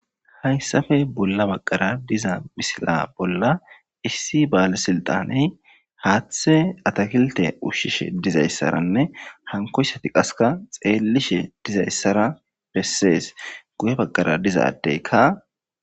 hayssappe bolla baqqara diza misila bolla issi baale silixaney haathe atakilite ushshishe dizayssaranne hanikoyssati qaseka xeellishe dizayssara bessees guye baqara diza addeykka